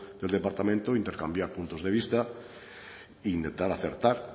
del departamento intercambiar puntos de vista intentar acertar